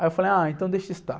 Aí eu falei, ah, então deixa estar.